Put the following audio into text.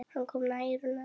Hann kom nær og nær.